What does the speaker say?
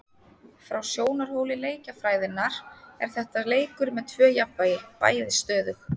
Frá sjónarhóli leikjafræðinnar er þetta leikur með tvö jafnvægi, bæði stöðug.